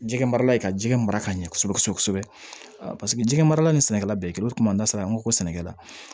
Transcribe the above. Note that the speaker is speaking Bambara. Jɛgɛ marala ye ka jikɛ mara ka ɲɛ kosɛbɛ kosɛbɛ paseke jɛgɛ marala ni sɛnɛkɛla bɛɛ kelen o kuma n'a sera an ko sɛnɛkɛla